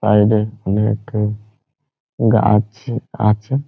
Side -এ অনেক গাছ আছে।